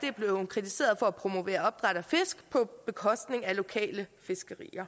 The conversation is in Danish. er blevet kritiseret for at promovere opdræt af fisk på bekostning af lokalt fiskeri